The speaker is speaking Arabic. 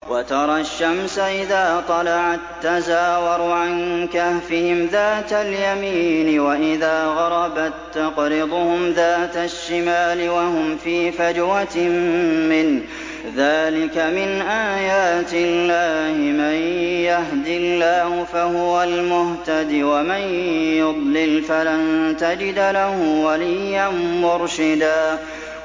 ۞ وَتَرَى الشَّمْسَ إِذَا طَلَعَت تَّزَاوَرُ عَن كَهْفِهِمْ ذَاتَ الْيَمِينِ وَإِذَا غَرَبَت تَّقْرِضُهُمْ ذَاتَ الشِّمَالِ وَهُمْ فِي فَجْوَةٍ مِّنْهُ ۚ ذَٰلِكَ مِنْ آيَاتِ اللَّهِ ۗ مَن يَهْدِ اللَّهُ فَهُوَ الْمُهْتَدِ ۖ وَمَن يُضْلِلْ فَلَن تَجِدَ لَهُ وَلِيًّا مُّرْشِدًا